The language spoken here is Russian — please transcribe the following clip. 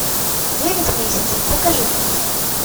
девять месяцев покажи мне